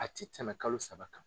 A ti tɛmɛ kalo saba kan.